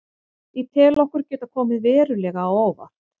Ég tel okkur geta komið verulega á óvart.